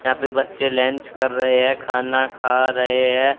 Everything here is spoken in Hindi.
यहां पे बच्चे लंच कर रहे हैं खाना खा रहे हैं।